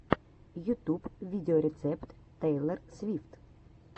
ютюб видеорецепт тейлор свифт